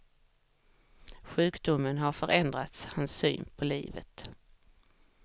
Sjukdomen har förändrat hans syn på livet.